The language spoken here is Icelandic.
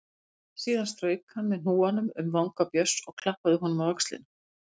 Síðan strauk hann með hnúanum um vanga Björns og klappaði honum á öxlina.